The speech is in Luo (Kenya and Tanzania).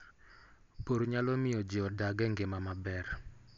Pur nyalo miyo ji odag e ngima maber.